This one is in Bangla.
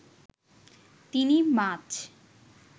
তিমি মাছ